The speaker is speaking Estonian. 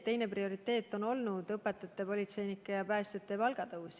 Teine prioriteet on olnud õpetajate, politseinike ja päästjate palgatõus.